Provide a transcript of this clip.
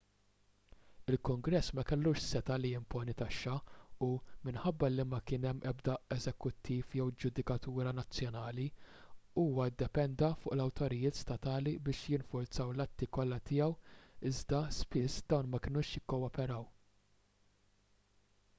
il-kungress ma kellux setgħa li jimponi taxxi u minħabba li ma kien hemm ebda eżekuttiv jew ġudikatura nazzjonali huwa ddependa fuq l-awtoritajiet statali biex jinfurzaw l-atti kollha tiegħu iżda spiss dawn ma kinux jikkooperaw